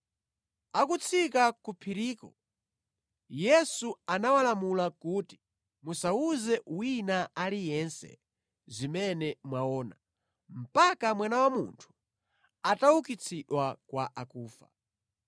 Akutsika ku phiriko, Yesu anawalamula kuti, “Musawuze wina aliyense zimene mwaona, mpaka Mwana wa Munthu ataukitsidwa kwa akufa.”